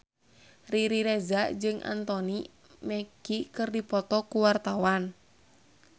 Riri Reza jeung Anthony Mackie keur dipoto ku wartawan